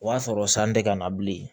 O y'a sɔrɔ san tɛ ka na bilen